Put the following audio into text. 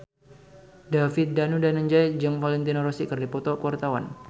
David Danu Danangjaya jeung Valentino Rossi keur dipoto ku wartawan